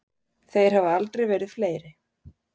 Þeir hafa aldrei verið fleiri.